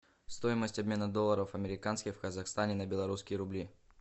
стоимость обмена долларов американских в казахстане на белорусские рубли